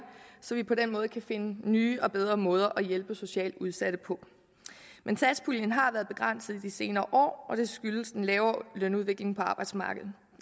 så vi på den måde kan finde nye og bedre måder at hjælpe socialt udsatte på men satspuljen har været begrænset i de senere år og det skyldes den lavere lønudvikling på arbejdsmarkedet